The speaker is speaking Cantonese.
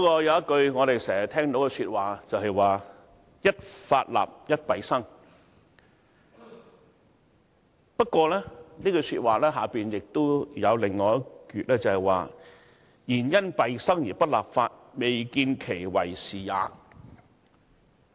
有一句我們經常聽到的說話是，"一法立而一弊生"，而這句說話的下半部是，"然因弊生而不立法，未見其為是也。